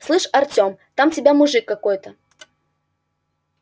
слышь артем там тебя мужик какой-то